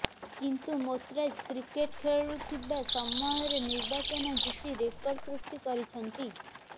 କିନ୍ତୁ ମୋର୍ତଜା କ୍ରିକେଟ ଖେଳୁଥିବା ସମୟରେ ନିର୍ବାଚନ ଜିତି ରେକର୍ଡ ସୃଷ୍ଟି କରିଛନ୍ତି